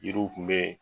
Yiriw tun bɛ